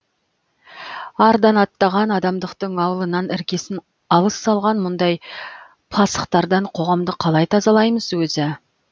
ардан аттаған адамдықтың ауылынан іргесін алыс салған мұндай пасықтардан қоғамды қалай тазалаймыз өзі